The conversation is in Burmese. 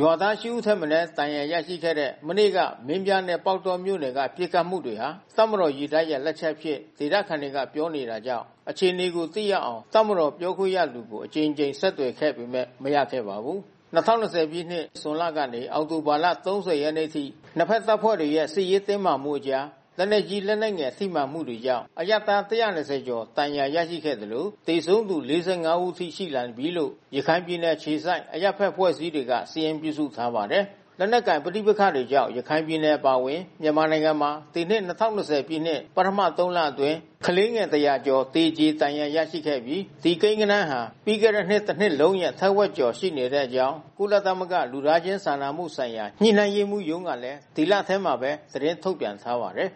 ရွာသား ရှစ် ဦးထက် မနည်း ဒဏ်ရာရခဲ့တဲ့ မနေ့က မင်းပြားနဲ့ ပေါက်တောမြို့နယ်တွေက ပစ်ခတ်မှုတွေဟာ တပ်မတော်ရေတပ်ရဲ့ လက်ချက်အဖြစ် ဒေသခံတွေကပြောနေတာကြောင့် အခြေအနေကိုသိနိုင်အောင် တပ်မတော်ပြောခွင့်ရသူကို အကြိမ်ကြိမ်ဆက်သွယ်ခဲ့ပေမဲ့ မရခဲ့ပါဘူး။ ၂၀၂၀ ပြည့်နှစ် ဇွန်လကနေ အောက်တိုဘာ ၃၀ ရက်နေ့အထိ နှစ်ဘက်တပ်ဖွဲ့တွေရဲ့စစ်ရေးတင်းမာမှုအကြား လက်နက်ကြီး၊ လက်နက်ငယ် ထိမှန်မှုတို့ကြောင့် အရပ်သား ၁၂၀ ကျော် ဒဏ်ရာရရှိခဲ့သလို သေဆုံးသူ ၄၅ ဦးထိ ရှိလာနေပြီလို့ ရခိုင်ပြည်နယ် အခြေစိုက် အရပ်ဘက်အဖွဲ့အစည်းတွေက စာရင်းပြုစုထားပါတယ်။ လက်နက်ကိုင် ပဋိပက္ခတွေကြောင့် ရခိုင်ပြည်နယ် အပါအဝင် မြန်မာနိုင်ငံမှာ ဒီနှစ် ၂၀၂၀ ပြည့် ပထမ ၃ လအတွင်း ကလေးငယ် ၁၀၀ ကျော် သေကြေဒဏ်ရာရခဲ့ပြီး ဒီကိန်းဂဏန်းဟာ ပြီးခဲ့တဲ့နှစ် တနှစ်လုံးရဲ့ ထက်ဝက်ကျော် ရှိနေတဲ့အကြောင်း ကုလသမဂ္ဂ လူသားချင်းစာနာမှုဆိုင်ရာ ညှိနှိုင်းရေးမှူးရုံးကလည်း ဒီလထဲမှာပဲ သတင်းထုတ်ပြန်ထားပါတယ်